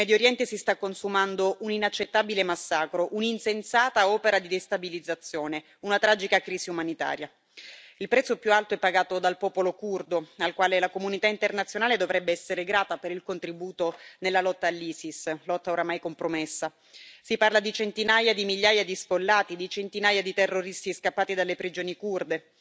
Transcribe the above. In Medio Oriente si sta consumando un inaccettabile massacro, un'insensata opera di destabilizzazione, una tragica crisi umanitaria. Il prezzo più alto è pagato dal popolo curdo, al quale la comunità internazionale dovrebbe essere grata per il contributo nella lotta all'Isis, lotta oramai compromessa. Si parla di centinaia di migliaia di sfollati e di centinaia di terroristi scappati dalle prigioni curde.